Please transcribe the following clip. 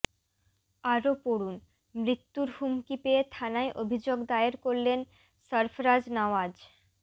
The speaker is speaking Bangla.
আরও পড়ুন মৃত্যুর হুমকি পেয়ে থানায় অভিযোগ দায়ের করলেন সরফরাজ নওয়াজ